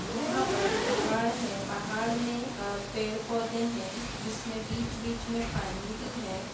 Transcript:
यहाँ पर पहाड़ है पहाड़ मे अ पेड़-पौधे है जिसमे बीच-बीच मे पानी भी है।